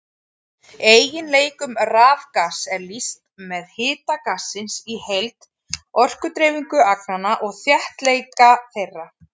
Eiginleikum rafgass er lýst með hita gassins í heild, orkudreifingu agnanna og þéttleika þeirra.